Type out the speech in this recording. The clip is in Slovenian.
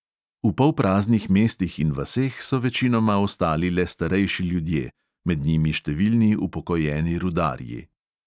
V polpraznih mestih in vaseh so večinoma ostali le starejši ljudje, med njimi številni upokojeni rudarji.